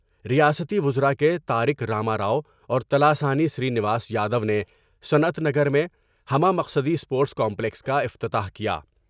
ریاستی وزرا کے تارک را ما را ؤاور تلاسانی سر بینواس یادو نے صنعت نگر میں ہمہ مقصدی اسپورٹس کامپلکس کا افتتاح کیا ۔